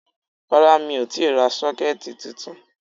Rárá mi ò tíì ra 'Sókẹ́ẹ̀tì ' titun